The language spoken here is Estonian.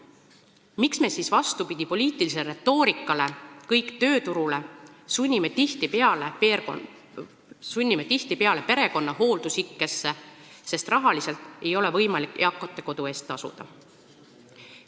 Miks me siis vastupidi poliitilisele retoorikale "Kõik tööturule!" sunnime tihtipeale perekonna hooldusikkesse, sest rahaliselt ei ole võimalik eakate kodu eest tasuda?